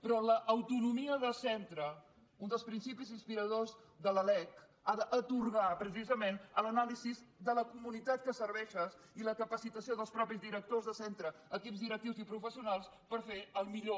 però l’au·tonomia de centre un dels principis inspiradors de la lec ha d’atorgar precisament a l’anàlisi de la comu·nitat que serveixes i a la capacitació dels mateixos di·rectors de centre equips directius i professionals per fer el millor